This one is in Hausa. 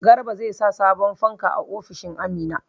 Garba zai sa sabon fanka a ofishin Amina.